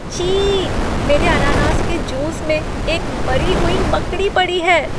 छी! मेरे अनानास के जूस में एक मरी हुई मकड़ी पड़ी है।